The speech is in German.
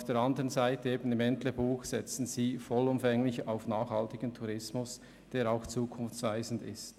Auf der Seite des Entlebuchs setzt man vollumfänglich auf nachhaltigen Tourismus, der auch zukunftsweisend ist.